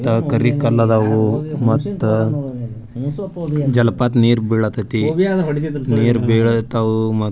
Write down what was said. ಕರಿಕಲ್ಲದವು ಮತ್ತೆ ಜಲಪಾತ ನೀರ್ ಬೀಳ್ತೈತೆ ನೀರ್ ಬೀಳತವ್ವ.